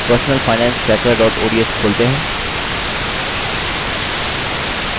personalfinancetracker ods खोलते हैं